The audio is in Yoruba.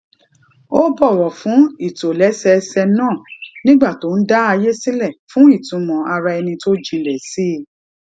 ó bọwọ fún ìtòlẹsẹẹsẹ náà nígbà tí ó ń dá àyè sílẹ fún ìtumọ ara ẹni tó jinlẹ sí i